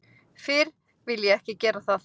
Fyrr vil ég ekki gera það.